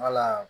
Wala